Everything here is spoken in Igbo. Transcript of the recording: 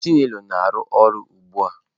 chinelo na-arụ ọrụ ugbu a.